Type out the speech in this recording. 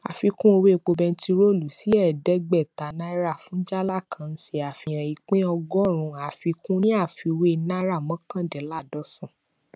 àfikún owó epo bentiroolu sí ẹẹdẹgbẹta náírà fun jálá kan nṣe àfihàn ìpín ọgọrùn àfikún ní àfiwé náírà mọkàndinlaadọsan